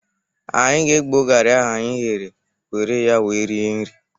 Anyi ga-egbo garị ahụ anyị ghere were ya wee rie nri.